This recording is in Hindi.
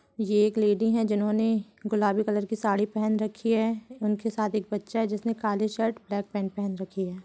ये एक लेडी है जिन्होंने गुलाबी कलर की साड़ी पहन रखी है उनके साथ एक बच्चा है जिसने काले शर्ट ब्लैक पैंट पहन रखी है।